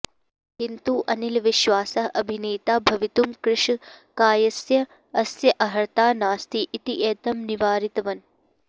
किन्तु अनिल् विश्वासः अभिनेता भवितुम् कृशकायस्य अस्य अर्हता नास्ति इति एतं निवारितवन्